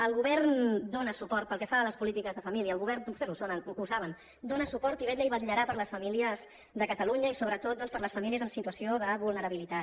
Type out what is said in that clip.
el govern dóna suport a les polítiques de família el govern vostès ho saben dóna suport i vetlla i vetllarà per les famílies de catalunya i sobretot doncs per les famílies en situació de vulnerabilitat